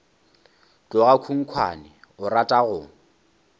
tloga khunkhwane o rata go